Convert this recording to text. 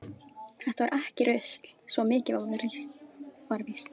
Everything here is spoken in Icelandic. Þetta var ekki rusl, svo mikið var víst.